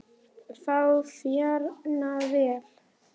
Fá Björn Val í það?